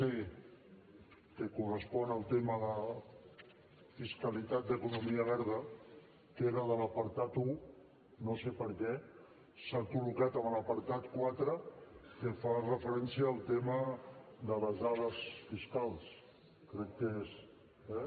c que correspon al tema de fiscalitat d’economia verda que era de l’apartat un no sé per què s’ha col·locat en l’apartat quatre que fa referència al tema de les dades fiscals crec que és eh sí